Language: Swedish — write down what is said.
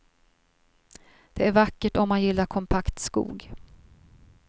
Det är vackert om man gillar kompakt skog.